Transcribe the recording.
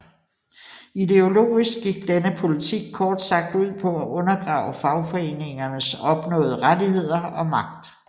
Ideologisk gik denne politik kort sagt ud på at undergrave fagforeningernes opnåede rettigheder og magt